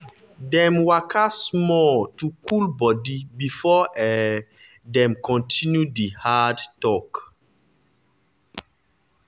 dem waka small to cool body before um dem continue di hard talk.